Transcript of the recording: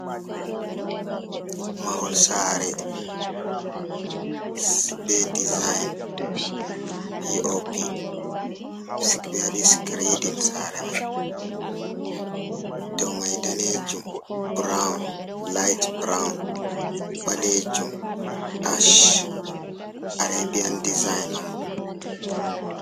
Mahol sare ɓe dezign pop, ɓe waɗi skreɗin sare mai ɗow mai ɗanejum ɓrown light ɓrown, ɓalejum ash areɓian ɗesign on ɓo.